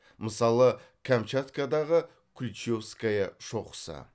мысалы камчаткадағы ключевская шоқысы